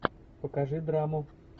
покажи драму